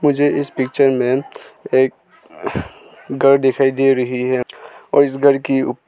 मुझे इस पिक्चर में एक घर दिखाई दे रही है और इस घर की --